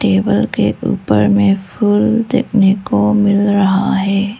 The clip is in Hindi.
टेबल के ऊपर में फूल देखने को मिल रहा है।